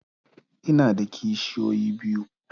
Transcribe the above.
Ina da kishiyoyi biyu.